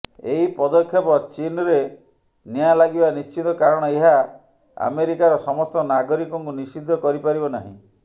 ଏହି ପଦକ୍ଷେପ ଚୀନ୍ରେ ନିଆଁ ଲାଗିବା ନିଶ୍ଚିତ କାରଣ ଏହା ଆମେରିକାର ସମସ୍ତ ନାଗରିକଙ୍କୁ ନିଷିଦ୍ଧ କରିପାରିବ ନାହିଁ